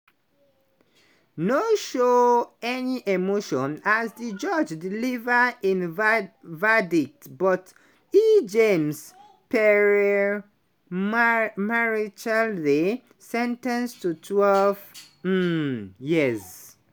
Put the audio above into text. no show any emotion as di judge deliver im verdict but e jean-pierre marechaldey sen ten ced to twelve um years.